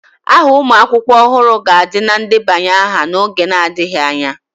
Aha ụmụ akwụkwọ ọhụrụ ga-adị na ndebanye aha n'oge adịghị anya.